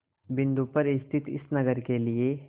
बिंदु पर स्थित इस नगर के लिए